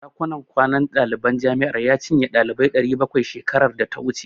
Ɗakunan kwanan daliban jami'ar ya cinye ɗalibai 700 shekarar data wuce.